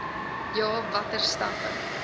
ja watter stappe